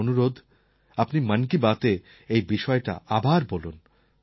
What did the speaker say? আমার অনুরোধ আপনি মন কি বাতএ এই বিষয়টা আবার বলুন